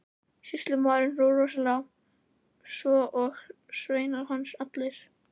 Sýslumaður hló rosalega, svo og sveinar hans allir.